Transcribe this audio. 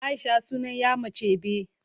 Aisha sunan ƴa mace be